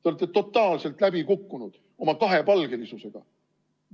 Te olete totaalselt läbi kukkunud oma kahepalgelisusega.